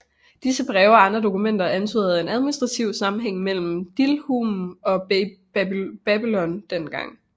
Disse breve og andre dokumenter antyder en administrativ sammenhæng mellem Dilmun og Babylon den gang